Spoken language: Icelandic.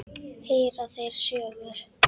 Heyra þeirra sögur.